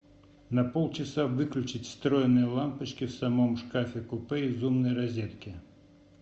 на полчаса выключить встроенные лампочки в самом шкафе купе из умной розетки